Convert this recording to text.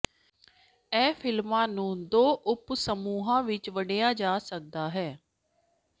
ਇਹ ਫਿਲਮਾਂ ਨੂੰ ਦੋ ਉਪ ਸਮੂਹਾਂ ਵਿਚ ਵੰਡਿਆ ਜਾ ਸਕਦਾ ਹੈ